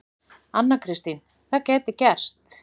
Anna Kristín: Það gæti gerst.